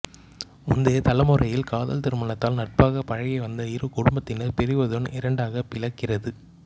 முந்தைய தலைமுறையில் காதல் திருமணத்தால் நட்பாக பழகி வந்த இரு குடும்பதினர் பிரிவதுடன் இரண்டாக பிளக்கிறது